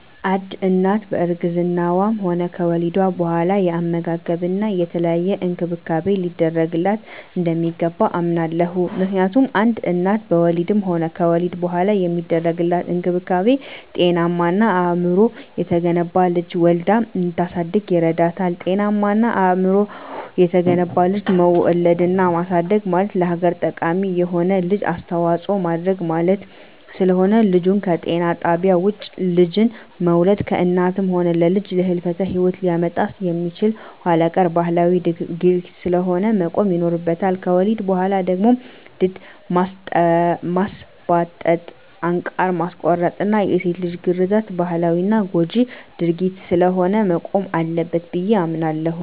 አንድ እናት በእርግዝናዋም ሆነ ከወሊድ በኋላ የአመጋገብና የተለያየ እንክብካቤ ሊደረግላት እንደሚገባ አምናለሁ። ምክንያቱም አንድ እናት በወሊድም ሆነ ከወሊድ በኋላ የሚደረግላት እንክብካቤ ጤናማና አእምሮው የተገነባ ልጅ ወልዳ እንድታሳድግ ይረዳታል። ጤናማና አእምሮው የተገነባ ልጅ መውለድና ማሳደግ ማለት ለሀገር ጠቃሚ የሆነ ልጅ አስተዋጽኦ ማድረግ ማለት ስለሆነ። ልጅን ከጤና ጣቢያ ውጭ ልጅን መውለድ ለእናትም ሆነ ለልጅ የህልፈተ ሂወት ሊያመጣ የሚችል ኋላቀር ባህላዊ ድርጊት ስለሆነ መቆም ይኖርበታል። ከወሊድ በኋላ ደግሞ ድድ ማስቧጠጥ፣ አንቃር ማስቆረጥና የሴት ልጅ ግርዛት ባህላዊና ጎጅ ድርጊት ስለሆነ መቆም አለበት ብየ አምናለሁ።